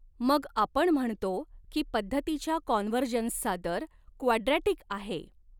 मग आपण म्हणतो की पद्धतीच्या कॉन्व्हर्जन्सचा दर क्वाड्रॅटिक आहे.